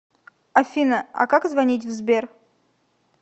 афина а как звонить в сбер